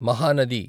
Mahanadi